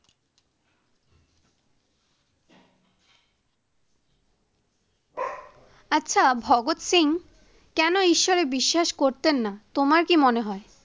আচ্ছা ভগদ সিং কেনো ঈশ্বরে বিশ্বাস করতেন নাহ তোমার কি মনে হয়?